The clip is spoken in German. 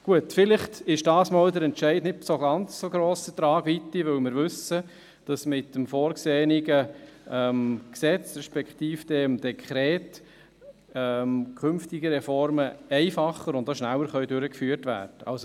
Gut, vielleicht ist der Entscheid diesmal nicht von ganz so grosser Tragweite, weil wir wissen, dass mit dem vorgesehenen Gesetz respektive mit dem Dekret künftige Reformen einfacher und auch schneller durchgeführt werden können.